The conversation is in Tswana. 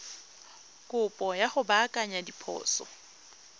kopo ya go baakanya diphoso